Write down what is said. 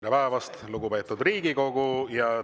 Tere päevast, lugupeetud Riigikogu!